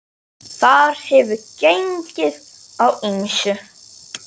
Þar hefur gengið á ýmsu.